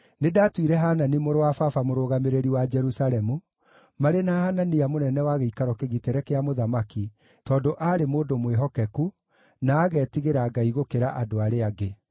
Nĩndatuire Hanani mũrũ wa baba mũrũgamĩrĩri wa Jerusalemu, marĩ na Hanania mũnene wa gĩikaro kĩgitĩre kĩa mũthamaki, tondũ aarĩ mũndũ mwĩhokeku, na agetigĩra Ngai gũkĩra andũ arĩa angĩ.